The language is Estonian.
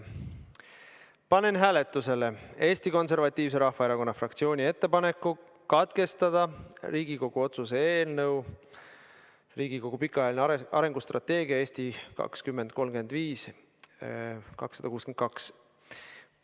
Panen hääletusele Eesti Konservatiivse Rahvaerakonna fraktsiooni ettepaneku katkestada Riigikogu otsuse "Riigikogu pikaajalise arengustrateegia "Eesti 2035" heakskiitmine" eelnõu 262 menetlemine.